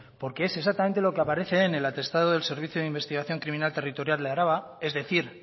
porque es exactamente lo que aparece en el atestado del servicio de investigación criminal territorial de álava es decir